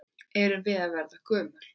Erum við að verða gömul?